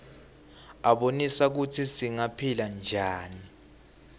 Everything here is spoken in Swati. abonisa kutsi singaphila njani